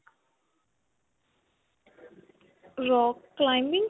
rock climbing?